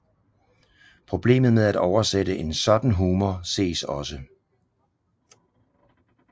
Problemet med at oversætte en sådan humor ses også